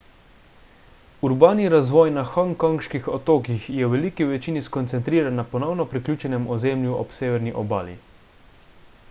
urbani razvoj na hongkonških otokih je v veliki večini skoncentriran na ponovno priključenem ozemlju ob severni obali